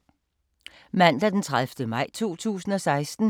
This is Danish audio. Mandag d. 30. maj 2016